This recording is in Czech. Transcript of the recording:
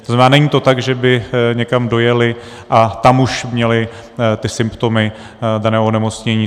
To znamená, není to tak, že by někam dojeli a tam už měli ty symptomy daného onemocnění.